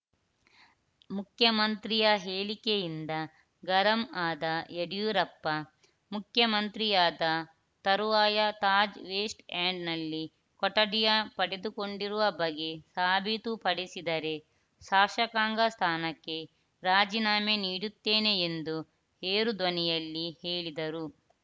ಮುಖ್ಯಮಂತ್ರಿಯ ಹೇಳಿಕೆಯಿಂದ ಗರಂ ಆದ ಯಡಿಯೂರಪ್ಪ ಮುಖ್ಯಮಂತ್ರಿಯಾದ ತರುವಾಯ ತಾಜ್‌ ವೆಸ್ಟ್‌ ಎಂಡ್‌ನಲ್ಲಿ ಕೊಠಡಿ ಪಡೆದುಕೊಂಡಿರುವ ಬಗ್ಗೆ ಸಾಬೀತು ಪಡಿಸಿದರೆ ಶಾಸಕಾಂಗ ಸ್ಥಾನಕ್ಕೆ ರಾಜೀನಾಮೆ ನೀಡುತ್ತೇನೆ ಎಂದು ಏರು ಧ್ವನಿಯಲ್ಲಿ ಹೇಳಿದರು